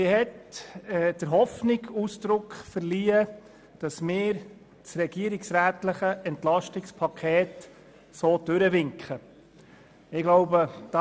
Sie hat der Hoffnung Ausdruck verliehen, dass wir das regierungsrätliche EP so durchwinken, wie es ist.